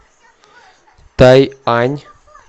тайань